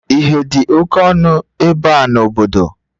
Ihe dị oke ọnụ ebe a n'obodo?